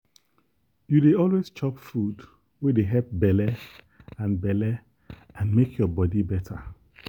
you dey always chop food wey dey help belle and belle and make your body better.